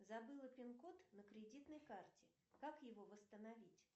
забыла пин код на кредитной карте как его восстановить